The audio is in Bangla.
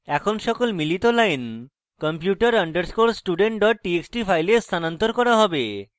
এখন সকল মিলিত lines computer underscore student txt txt file স্থানান্তর করা হবে